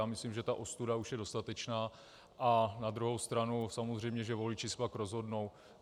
Já myslím, že ta ostuda už je dostatečná a na druhou stranu samozřejmě že voliči se pak rozhodnou.